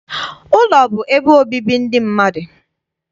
Ụlọ bụ ebe obibi ndị mmadụ.